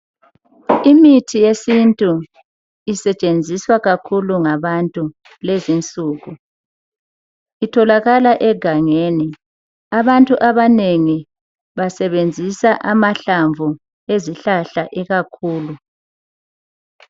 Imithi yesintu isetshenziswa kakhulu ngabantu lezinsuku, itholakala egangeni, abantu abanengi basebenzisa amahlamvu ezihlahla ikakhulu.